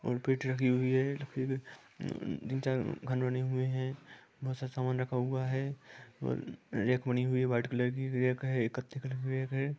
और पिट रखी हुई है तीन चार घन बने हुए हैं बहुत सा सामान रखा हुआ है और रेक बनी हुई है वाइट कलर की रेक है कथे कलर की रेक है।